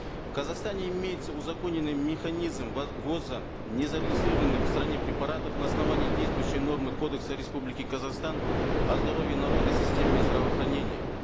в казахстане имеется узаконенный механизм ввоза незарегистрированных в стране препаратов на основании действующей нормы кодекса республики казахстан о здоровье народа и системе здравоохранения